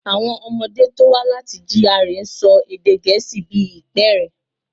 Àwọn ọmọdé tó wá láti GRA ń sọ èdè gẹ̀ẹ́sì bí ìpẹ́ẹ̀rẹ̀.